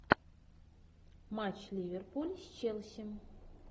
матч ливерпуль с челси